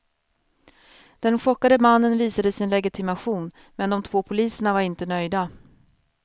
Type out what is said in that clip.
Den chockade mannen visade sin legitimation, men de två poliserna var inte nöjda.